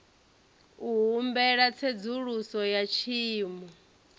u humbela tsedzuluso ya tshiimo